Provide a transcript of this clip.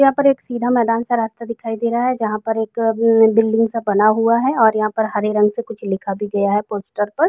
यहाँ पर एक सीधा मैंदान सा रास्ता दिखाई दे रहा है जहां पर एक म्म बिल्डिंग सा बना हुआ है और यहाँ पर हरे रंग से कुछ लिखा भी गया है पोस्टर पर।